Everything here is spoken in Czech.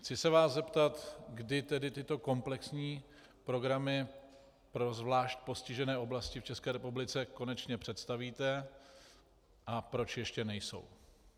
Chci se vás zeptat, kdy tedy tyto komplexní programy pro zvlášť postižené oblasti v České republice konečně představíte a proč ještě nejsou.